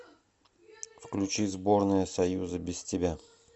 включи сборная союза без тебя